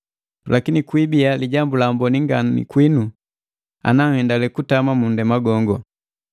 Lakini kwibia lijambu laamboni ngani kwinu ana hendalii kutama mu nndema gongo.